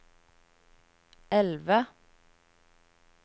elve